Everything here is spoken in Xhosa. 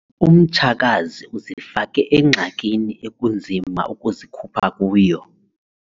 Umtshakazi uzifake engxakini ekunzima ukuzikhupha kuyo.